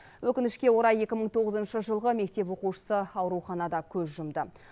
өкінішке қарай екі мың тоғызыншы жылғы мектеп оқушысы ауруханада көз жұмды